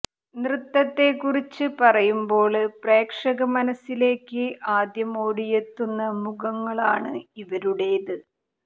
നൃത്തത്തെക്കുറിച്ച് പറയുമ്പോള് പ്രേക്ഷക മനസ്സിലേക്ക് ആദ്യം ഓടിയെത്തുന്ന മുഖങ്ങളാണ് ഇവരുടേത്